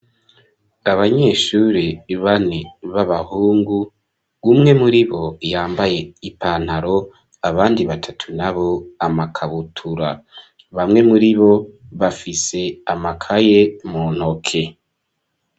Abanyeshure bane, b'abahungu, umwe muri bo, yambaye ipantaro, abandi batatu na bo, amakabutura; bamwe muri bo, bafise amakaye mu ntoke.